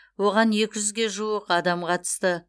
оған екі жүзге жуық адам қатысты